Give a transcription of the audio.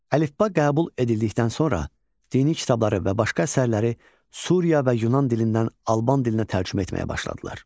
Əlifba qəbul edildikdən sonra dini kitabları və başqa əsərləri Suriya və Yunan dilindən Alban dilinə tərcümə etməyə başladılar.